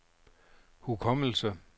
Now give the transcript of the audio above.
hukommelse